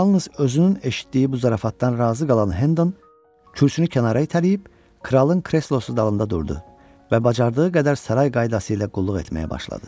Yalnız özünün eşitdiyi bu zarafatdan razı qalan Hendon kürsünü kənara itələyib kralın kreslosu dalında durdu və bacardığı qədər saray qaydası ilə qulluq etməyə başladı.